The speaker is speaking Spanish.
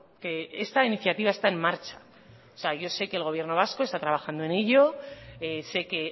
que esta iniciativa está en marcha yo sé que el gobierno vasco está trabajando en ello sé que